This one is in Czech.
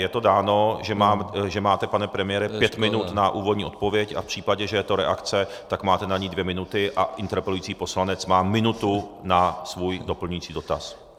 Je to dáno, že máte, pane premiére, pět minut na úvodní odpověď a v případě, že je to reakce, tak máte na ni dvě minuty a interpelující poslanec má minutu na svůj doplňující dotaz.